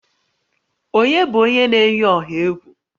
Ònye bụ onye na-eyi ọha egwu?